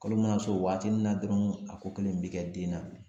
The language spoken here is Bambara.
Kalo mana s'o waati min na dɔrɔn a ko kelen bɛ kɛ den na